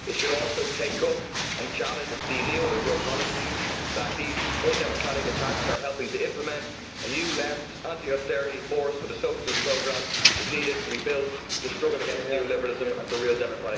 It should also take up and challenge the neoliberal policies that these undemocratic attacks are helping to implement. A new left anti austerity force with a socialist programme needs to be built to struggle against neoliberalism and for real democratic rights.